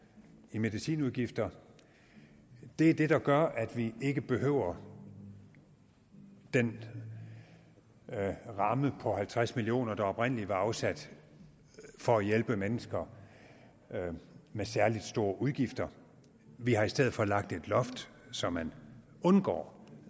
i medicinudgifter er det der gør at vi ikke behøver den ramme på halvtreds million kr der oprindelig var afsat for at hjælpe mennesker med særlig store udgifter vi har i stedet lagt et loft så man undgår